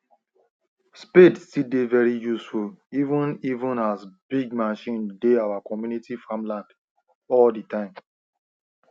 spade still dey very useful even even as big machine dey our community farmland all the time